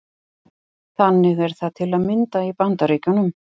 Þannig er það til að mynda í Bandaríkjunum.